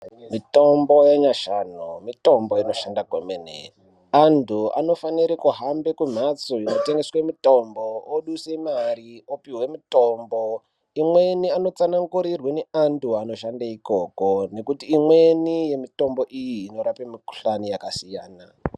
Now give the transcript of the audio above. Mitombo ye nashani mitombo inoshanda kwemene antu anofanire kuhambe ku mhatso ino tengeswe mitombo oduse mari opihwe mutombo imweni ano tsanangurirwe ne antu ano shande ikoko nekuti imweni ye mitombo iyi inorape mi kuhlani yaka siyana.